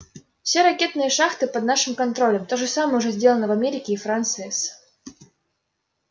все ракетные шахты под нашим контролем то же самое уже сделано в америке и франции с